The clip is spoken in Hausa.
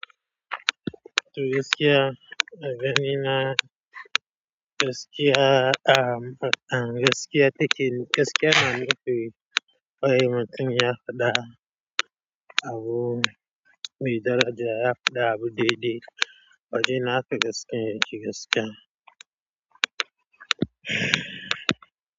To gaskiya, gani na, gaskiya, gaskiya take, gaskiya nan lokaci, wai matum ya faɗa. Abu me daraja ya faɗi abu daidai wajena haka gaskiyan yake gaskiya.